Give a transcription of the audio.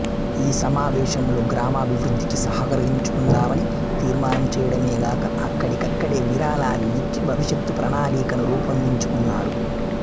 ఈ సమావేశంలో గ్రామాభివృద్ధికి సహకరించుకుందామని తీర్మానం చేయడమేగాక అక్కడికక్కడే విరాళాలు ఇచ్చి భవిష్యత్తు ప్రణాళికను రూపొందించుకున్నారు